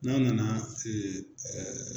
N'an nana